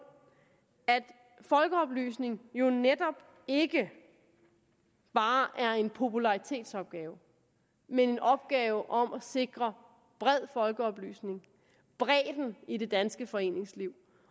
at folkeoplysning jo netop ikke bare er en popularitetsopgave men en opgave om at sikre bred folkeoplysning bredden i det danske foreningsliv